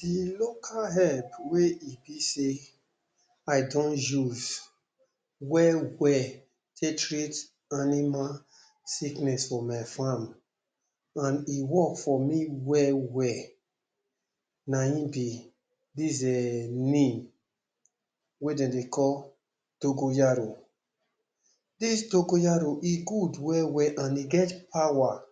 De local herb wey e be sey I don use well well take treat animal sickness for my farm and e work for me well well, na im be dis um name wey dem dey call Dogoyaro. Dis Dogoyaro e good well well and e get power